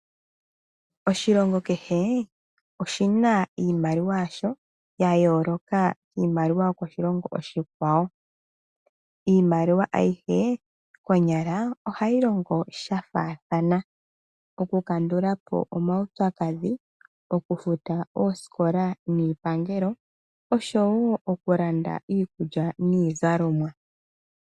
Oshilongo keshe oshina iimaliwa yasho yayooloka kiimaliwa yokoshilongo oshikwawo. Iimaliwa ayishe konyala ohayi longo shafaathana okukandulapo omaupyakadhi, okufuta oosikola niipangelo osho woo okulanda iikulya niizalomwa.